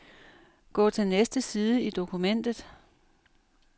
Gå til næste side i dokumentet.